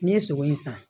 N'i ye sogo in san